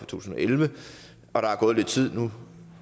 tusind og elleve der er gået lidt tid nu